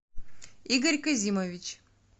игорь казимович